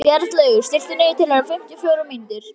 Bjarnlaugur, stilltu niðurteljara á fimmtíu og fjórar mínútur.